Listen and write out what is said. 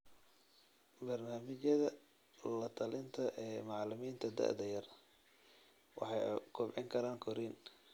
Barnaamijyada latalinta ee macalimiinta da'da yar waxay kobcin karaan korriin.